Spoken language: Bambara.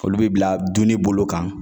Olu be bila dunni bolo kan.